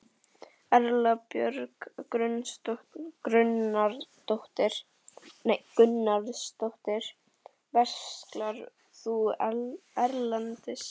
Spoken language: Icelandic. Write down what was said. Erla Björg Gunnarsdóttir: Verslar þú erlendis?